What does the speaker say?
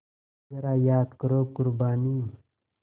ज़रा याद करो क़ुरबानी